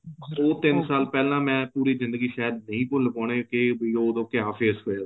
ਉਹ ਤਿੰਨ ਸਾਲ ਪਹਿਲਾਂ ਮੈਂ ਪੂਰੀ ਜ਼ਿੰਦਗੀ ਸ਼ਾਇਦ ਨਹੀਂ ਭੁੱਲ ਪਾਉਣੇ ਵੀ ਕੇ ਉਦੋਂ ਕਿਆ face ਹੋਇਆ ਸੀ